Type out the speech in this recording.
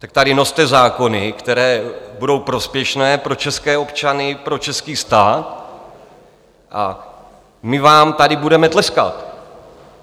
Tak tady noste zákony, které budou prospěšné pro české občany, pro český stát, a my vám tady budeme tleskat.